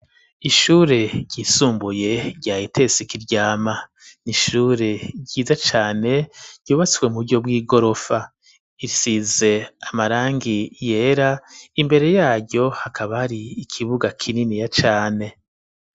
Ishure ryisumbuye rya ETS kiryama n'ishure ryiza cane ryubatswe muryo bw'igorofa isize amarangi yera imbere yaryo hakaba ari ikibuga kininiya cane.